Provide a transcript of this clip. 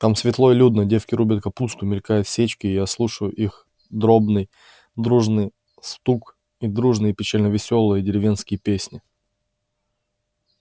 там светло и людно девки рубят капусту мелькают сечки я слушаю их дробный дружный стук и дружные печально-веселые деревенские песни